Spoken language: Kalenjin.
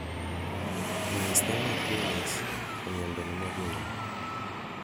myasthenia gravis ko miando nemokinyoe